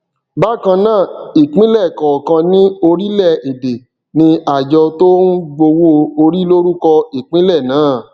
bákan náà ìpínlẹ kọọkan ní orílẹ èdè ní àjọ tó ń gbowó orí lórúkọ ìpínlẹ náà